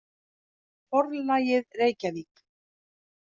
Forlagið, Reykjavík.